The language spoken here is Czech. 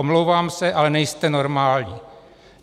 Omlouvám se, ale nejste normální.